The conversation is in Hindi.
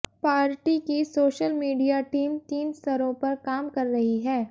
पार्टी की सोशल मीडिया टीम तीन स्तरों पर काम कर रही है